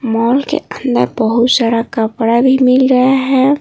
Mall के अंदर बहुत सारा कपड़ा भी मिल रहा है।